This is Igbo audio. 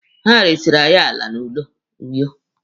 Ha resiri anyị ala na Uyo.